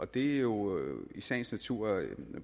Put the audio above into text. det er jo i sagens natur